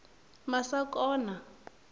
masakona